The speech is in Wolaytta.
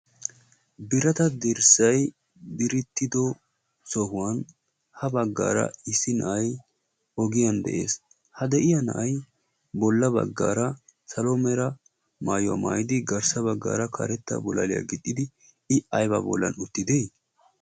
birata dirssai birittido sohuwan ha baggaara issi na7ai ogiyan de7ees. ha de7iya na7ai bolla baggaara salomeera maayuwaa maayidi garssa baggaara karetta bolaliyaa gixxidi i aiba bollan uttide?